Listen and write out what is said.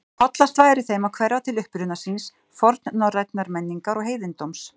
Hollast væri þeim að hverfa til uppruna síns, fornnorrænnar menningar og heiðindóms.